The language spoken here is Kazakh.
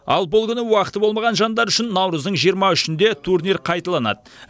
ал бұл күні уақыты болмаған жандар үшін наурыздың жиырма үшінде турнир қайталанады